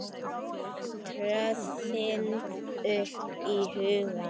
tröðin upp í hugann.